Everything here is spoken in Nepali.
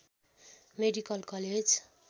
medical college